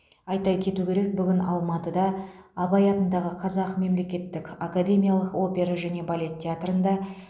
айта кету керек бүгін алматыда абай атындағы қазақ мемлекеттік академиялық опера және балет театрында